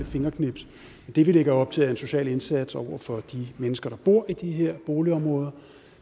fingerknips det vi lægger op til er en social indsats over for de mennesker der bor i de her boligområder